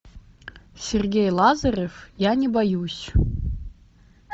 сергей лазарев я не боюсь